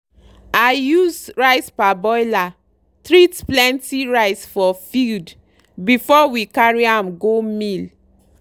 i use rice parboiler treat plenty rice for field before we carry am go mill.